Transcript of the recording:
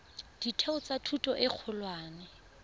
ditheo tsa thuto e kgolwane